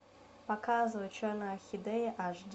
показывай черная орхидея аш ди